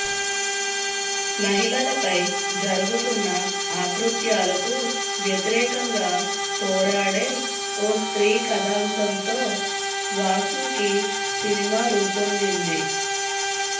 మహిళలపై జరగుతున్న అకృత్యాలకు వ్యతిరేకంగా పోరాడే ఓ స్త్రీ కథాంశంతో వాసుకి సినిమా రూపొందింది